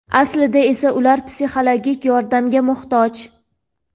Aslida esa ular psixologik yordamga muhtoj.